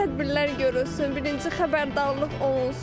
Müəyyən tədbirlər görülsün, birinci xəbərdarlıq olunsun.